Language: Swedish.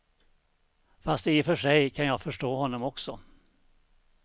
Fast i och för sig kan jag förstå honom också.